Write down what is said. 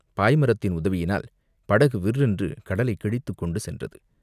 பாய் மரத்தின் உதவியினால் படகு விர்ரென்று கடலைக் கிழித்துக்கொண்டு சென்றது.